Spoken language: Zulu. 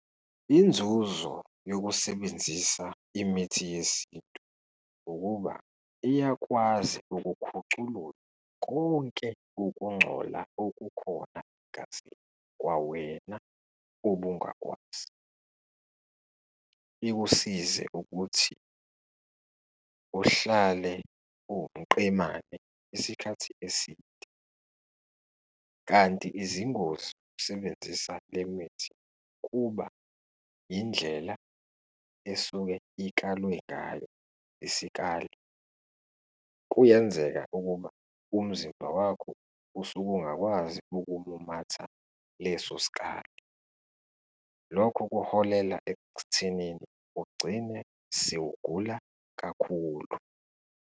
Inzuzo yokusebenzisa imithi yesintu ukuba iyakwazi ukukhuculula konke ukungcola okukhona kwawena obungakwazi, ikusize ukuthi uhlale uwumqemane isikhathi eside. Kanti izingozi zokusebenzisa le mithi kuba indlela esuke ikalwe ngayo, isikali. Kuyenzeka ukuba umzimba wakho usuke ungakwazi ukumumatha lesosikali, lokho kuholela ekuthenini ugcine sewugula kakhulu.